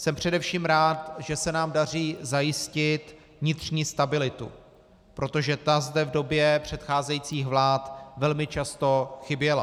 Jsem především rád, že se nám daří zajistit vnitřní stabilitu, protože ta zde v době předcházejících vlád velmi často chyběla.